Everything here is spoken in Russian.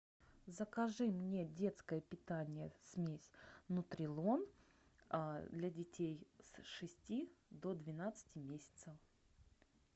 закажи мне детское питание смесь нутрилон для детей с шести до двенадцати месяцев